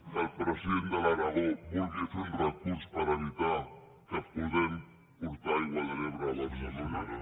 que el president de l’aragó vulgui fer un recurs per evitar que puguem portar aigua de l’ebre de barcelona